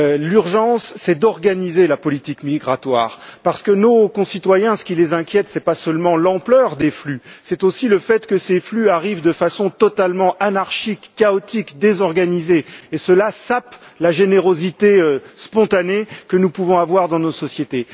L'urgence, c'est d'organiser la politique migratoire parce que ce qui inquiète nos concitoyens, ce n'est pas seulement l'ampleur des flux, c'est aussi le fait que ces flux arrivent d'une façon totalement anarchique, chaotique et désorganisée, qui sape la générosité spontanée que nous pouvons avoir dans nos sociétés.